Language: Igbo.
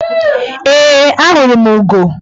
Ee, ahụrụ m ugo.